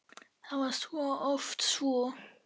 Það var oft svo.